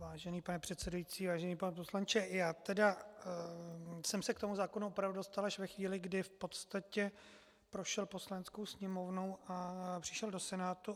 Vážený pane předsedající, vážený pane poslanče, já tedy jsem se k tomu zákonu opravdu dostal až ve chvíli, kdy v podstatě prošel Poslaneckou sněmovnou a přišel do Senátu.